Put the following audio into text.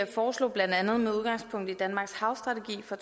foreslog blandt andet med udgangspunkt i danmarks havstrategi for